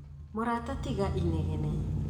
Mũrata tiga inegene